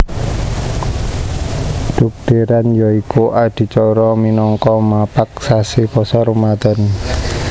Dhugdhèran ya iku adicara minangka mapag sasi Pasa Ramadhan